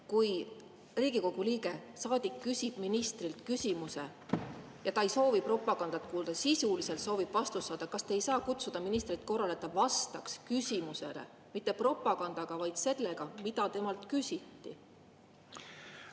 Kui Riigikogu liige, saadik, küsib ministrilt küsimuse ja ta ei soovi kuulda propagandat, vaid ta soovib sisulist vastust saada, kas te siis ei saa kutsuda ministrit korrale, et ta vastaks küsimusele mitte propagandaga, vaid vastaks selle kohta, mida temalt küsiti?